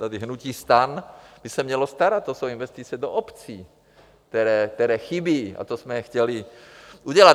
Tady hnutí STAN by se mělo starat, to jsou investice do obcí, které chybí, a to jsme chtěli udělat.